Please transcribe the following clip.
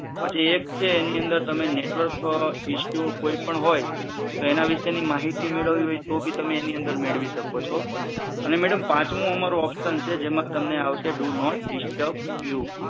પછી એક છે એની અંદર તમે નેટવર્ક ઇસ્યુ કોઈ પણ હોય તો એના વિષેની માહિતી મેળવી હોય તો ભી તમે એની અંદર મેળવી શકો છો અને મેડમ પાંચમું અમારું ઓપ્શન છે જેમાં તમને આવશે ડુ નોટ ડિસ્ટબ યુ